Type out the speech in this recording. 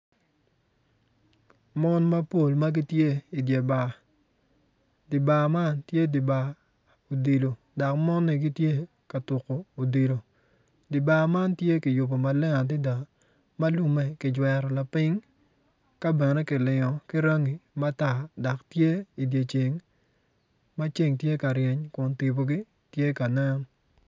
Mon mapol ma gitye idi bar di bar man tye di bar odilo dok moni gitye ka tuko odilo di man tye kiyubo maleng adada ma lumme kijwero piny ka bene kilingo ki rangi matar dok tye ben idye ceng ma ceng tye ka ryeny matar kun tipogi tye ka nen.